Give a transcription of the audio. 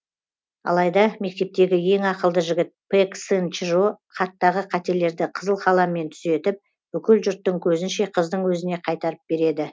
алайда мектептегі ең ақылды жігіт пэк сын чжо хаттағы қателерді қызыл қаламмен түзетіп бүкіл жұрттың көзінше қыздың өзіне қайтарып береді